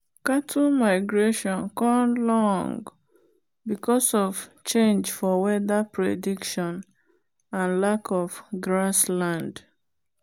cattle migration con long because of change for weather prediction and lack of grass land.